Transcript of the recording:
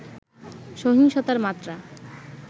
সহিংসতার মাত্রা